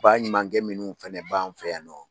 Baɲumankɛ minnu fana bɛ an fɛ yan nɔ